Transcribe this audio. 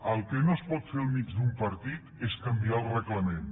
el que no es pot fer enmig d’un partit és canviar el reglament